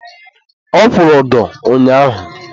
ọ kwụrụ ụdọ ụnyaahụ.